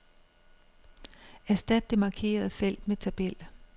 Erstat det markerede felt med tabel.